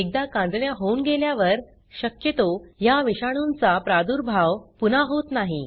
एकदा कांजिण्या होऊन गेल्यावर शक्यतो ह्या विषाणूंचा प्रादुर्भाव पुन्हा होत नाही